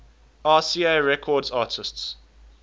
rca records artists